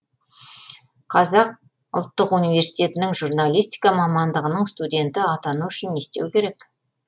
қазақ ұлттық университетінің журналистика мамандығының студені атану үшін не істеу керек